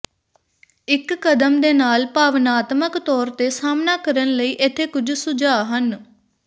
ਇੱਕ ਕਦਮ ਦੇ ਨਾਲ ਭਾਵਨਾਤਮਕ ਤੌਰ ਤੇ ਸਾਹਮਣਾ ਕਰਨ ਲਈ ਇੱਥੇ ਕੁਝ ਸੁਝਾਅ ਹਨ